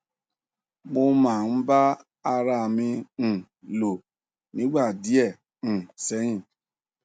mo máa ń bá ara à mi um lò nígbà díẹ um sẹyìn